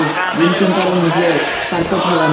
Gym সেন্টারের নীচে carpet ফেলানো।